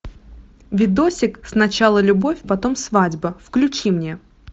видосик сначала любовь потом свадьба включи мне